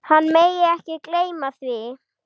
Hann megi ekki gleyma því.